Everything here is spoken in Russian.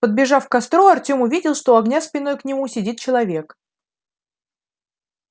подбежав к костру артем увидел что у огня спиной к нему сидит человек